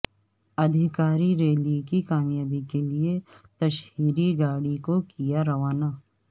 ادھیکارریلی کی کامیابی کیلئے تشہیری گاڑی کو کیا روانہ